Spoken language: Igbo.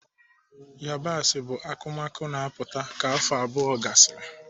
Yabasị bụ akụmakụ na-aputa ka afọ abụọ gasịrị.